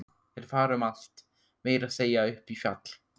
Þeir fara um allt, meira að segja upp í fjall.